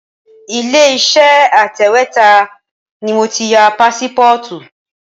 Ilé Iṣẹ́ atẹ̀wétà ni mo ti ya pásípọ́ọ̀tù.